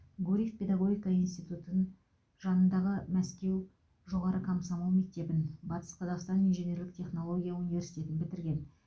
гурьев педагогика институтын жанындағы мәскеу жоғары комсомол мектебін батыс қазақстан инженерлік технология университетін бітірген